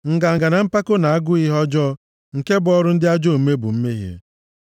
Nganga na mpako na agụụ ihe ọjọọ nke bụ ọrụ ndị ajọ omume, bụ mmehie.